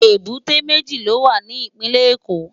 Ébùté méji ló wá ni Ipinlè Ékó